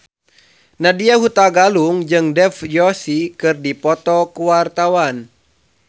Nadya Hutagalung jeung Dev Joshi keur dipoto ku wartawan